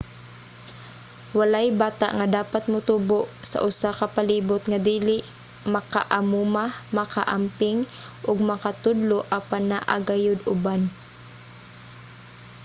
walay bata nga dapat motubo sa usa ka palibot nga dili maka-amuma maka-amping ug makatudlo apan naa gayud uban